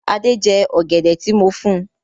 Adé jẹ́ ọ̀gẹ̀dẹ̀ tí mo fún.